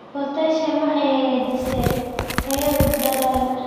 Potassium waxay hagaajisaa tayada dalagga.